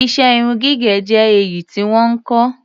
Iṣẹ́ irun gígẹ̀ jẹ́ èyí tí wọ́n ń kọ́.